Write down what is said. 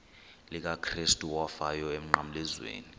likakrestu owafayo emnqamlezweni